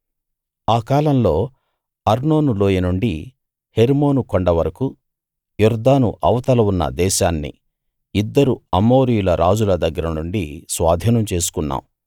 ఆ కాలంలో అర్నోను లోయ నుండి హెర్మోను కొండ వరకూ యొర్దాను అవతల ఉన్న దేశాన్ని ఇద్దరు అమోరీయుల రాజుల దగ్గర నుండి స్వాధీనం చేసుకున్నాం